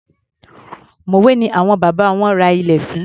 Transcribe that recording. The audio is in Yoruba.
Mòwé ni àwọn bàbá wọn ra ilẹ̀ sí.